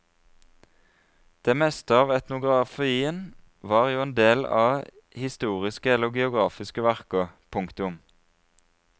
Det meste av etnografien var jo del av historiske eller geografiske verker. punktum